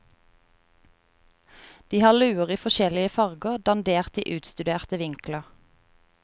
De har luer i forskjellige farger, dandert i utstuderte vinkler.